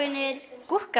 gúrka